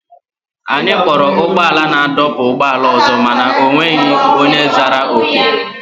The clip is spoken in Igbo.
Anyị kpọrọ ụgbọala naadọkpụ ụgbọala ọzọ mana o nweghị onye zara oku.